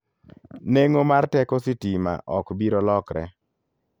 Neng'o mar teko sitima ok biro lokre.